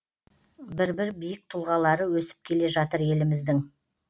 бір бір биік тұлғалары өсіп келе жатыр еліміздің